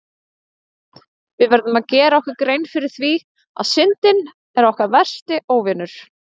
Við verðum að gera okkur grein fyrir því að Syndin er okkar versti óvinur!